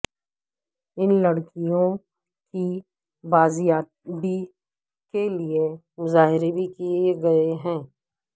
ان لڑکیوں کی بازیابی کے لیے مظاہرے بھی کیے گئے ہیں